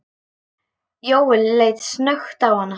Jóel leit snöggt á hana.